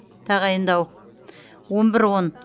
тағайындау он бір он